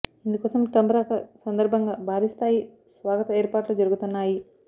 ఇందుకోసం ట్రంప్ రాక సందర్భంగా భారీ స్థాయి స్వాగత ఏర్పాట్లు జరుగుతున్నాయి